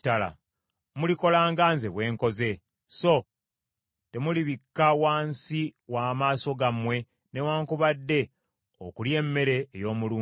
Mulikola nga nze bwe nkoze, so temulibikka wansi w’amaaso gammwe newaakubadde okulya emmere ey’omulumbe.